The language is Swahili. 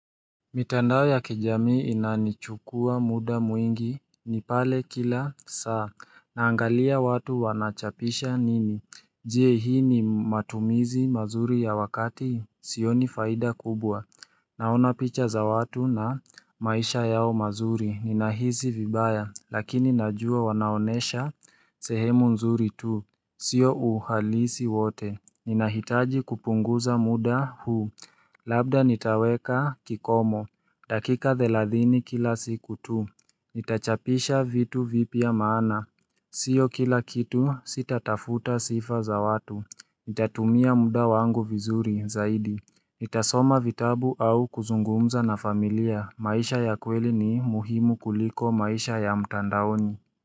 Mitandao ya kijamii inanichukua muda mwingi, ni pale kila saa naangalia watu wanachapisha nini. Je, hii ni matumizi mazuri ya wakati? Sioni faida kubwa Naona picha za watu na maisha yao mazuri, ninahisi vibaya, lakini najua wanaonesha sehemu nzuri tu sio uhalisi wote. Ninahitaji kupunguza muda huu Labda nitaweka kikomo. Dakika thelathini kila siku tu. Nitachapisha vitu vipya maana. Sio kila kitu sitatafuta sifa za watu. Nitatumia muda wangu vizuri zaidi. Nitasoma vitabu au kuzungumza na familia. Maisha ya kweli ni muhimu kuliko maisha ya mtandaoni.